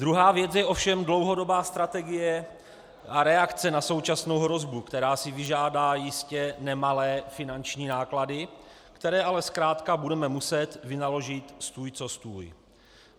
Druhá věc je ovšem dlouhodobá strategie a reakce na současnou hrozbu, která si vyžádá jistě nemalé finanční náklady, které ale zkrátka budeme muset vynaložit stůj co stůj.